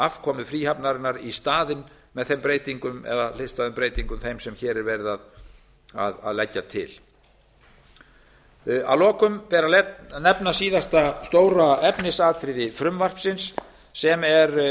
afkomu fríhafnarinnar í staðinn með breytingum hliðstæðum þeim sem hér eru lagðar til að lokum ber að nefna síðasta stóra efnisatriði frumvarpsins sem er